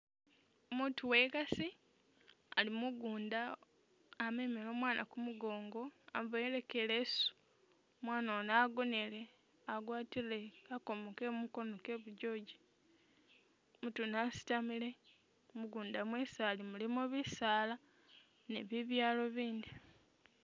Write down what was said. Umutu wekasi ali mugunda amemele omwana kumugongo amuboyele ko i'leesu, mwana Ono agonele agwatile kakomo kemukono kebujoji, umutu wene asitamile, mugunda mwesi ali mulimo bisaala ne bibyaalo bindi